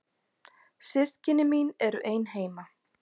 Systkini mín eru ein heima.